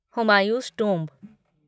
Humayun's tomb